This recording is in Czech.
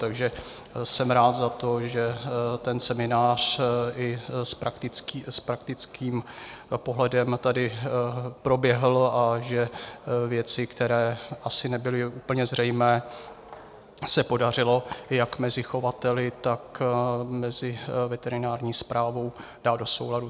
Takže jsem rád za to, že ten seminář i s praktickým pohledem tady proběhl a že věci, které asi nebyly úplně zřejmé, se podařilo jak mezi chovateli, tak mezi veterinární správou dát do souladu.